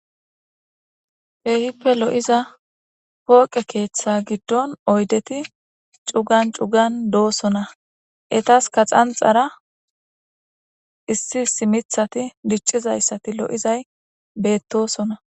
Keehippe lo7iza kooqe keeththa giddon oydeti cugan cugan doosona etas kaxanxara issi simithati diccizayssati lo7izay beettosona.